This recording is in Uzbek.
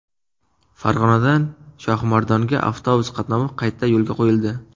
Farg‘onadan Shohimardonga avtobus qatnovi qayta yo‘lga qo‘yildi.